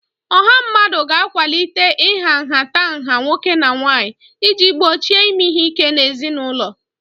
Ọha mmadụ ga-akwalite ịha nhatanha nwoke na nwanyị iji gbochie ime ihe ike n'ezinụlọ